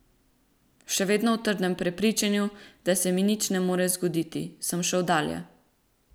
Še vedno v trdnem prepričanju, da se mi nič ne more zgoditi, sem šel dalje.